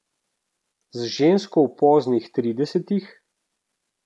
Z žensko v poznih tridesetih?